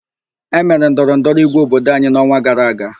E mere ndọrọ ndọrọ ígwé obodo anyị n'ọnwa gara aga.